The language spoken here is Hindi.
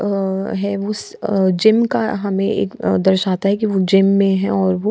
अ है उस आ जिम्म का हमे एक दर्शाता हैं की वो जिम मे है वो।